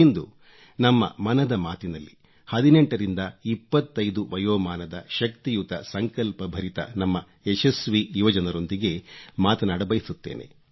ಇಂದು ನಮ್ಮ ಮನದ ಮಾತಿನಲ್ಲಿ 18 ರಿಂದ 25 ವಯೋಮಾನದ ಶಕ್ತಿಯುತ ಸಂಕಲ್ಪಭರಿತ ನಮ್ಮ ಯಶಸ್ವಿ ಯುವಜನರೊಂದಿಗೆ ಮಾತನಾಡಬಯಸುತ್ತೇನೆ